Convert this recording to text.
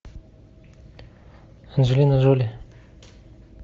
анджелина джоли